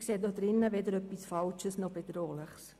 Ich sehe darin weder etwas Falsches noch etwas Bedrohliches.